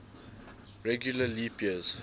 regular leap days